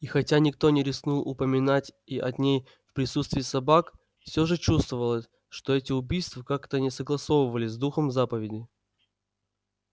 и хотя никто не рискнул упоминать и о ней в присутствии собак всё же чувствовалось что эти убийства как-то не согласовывались с духом заповеди